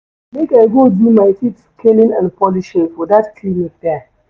Make I go do my teeth scaling and polishing for dat clinic there.